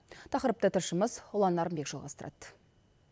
тақырыпты тілшіміз ұлан нарынбек жалғастырады